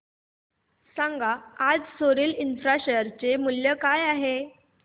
सांगा आज Soril infra share चे मूल्य काय आहे